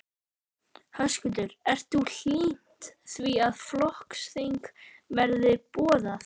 Höskuldur: Ert þú hlynnt því að flokksþing verði boðað?